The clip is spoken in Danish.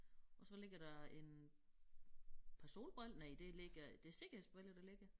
Og så ligger der en par solbriller næ der ligger det sikkerhedsbriller der ligger